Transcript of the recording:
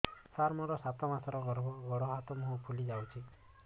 ସାର ମୋର ସାତ ମାସର ଗର୍ଭ ଗୋଡ଼ ହାତ ମୁହଁ ଫୁଲି ଯାଉଛି